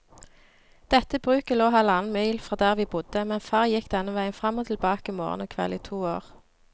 Dette bruket lå halvannen mil fra der vi bodde, men far gikk denne veien fram og tilbake morgen og kveld i to år.